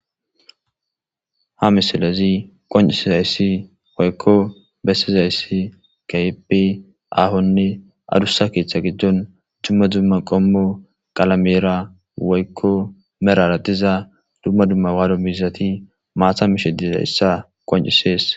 Ha misalezi qoncisi zayssi woykko bessizayssi kaypi ahonne adussa keethcha gijdon dumma dumma qommo qalamera woykko merara diza dumma dumma waado miizati maata mishediza issa qoncisees